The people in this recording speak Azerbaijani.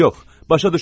Yox, başa düşmürəm.